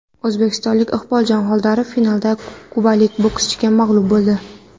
O‘zbekistonlik Iqboljon Xoldorov finalda kubalik bokschiga mag‘lub bo‘ldi.